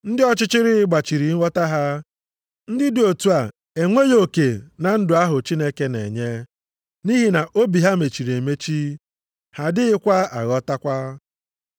Ndị ọchịchịrị gbachiri nghọta ha. Ndị dị otu a enweghị oke na ndụ ahụ Chineke na-enye, nʼihi na obi ha mechiri emechi, ha adịghị aghọtakwa.